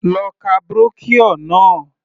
Lọ ka brochure náà.